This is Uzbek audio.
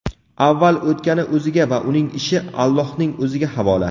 avval o‘tgani o‘ziga va uning ishi Allohning O‘ziga havola.